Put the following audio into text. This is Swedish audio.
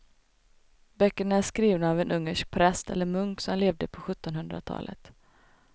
Böckerna är skrivna av en ungersk präst eller munk som levde på sjuttonhundratalet.